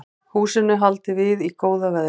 Húsinu haldið við í góða veðrinu